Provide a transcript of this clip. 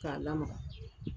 K'a lamaga